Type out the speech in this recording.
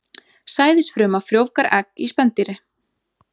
Sæðisfruma frjóvgar egg í spendýri.